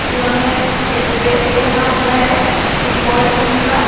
जिन्होंने एक ड्रेस पहना हुआ है फुटबॉल टीम का--